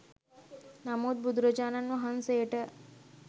නමුත් බුදුරජාණන් වහන්සේට